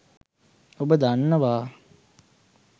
ඔබ දන්නවා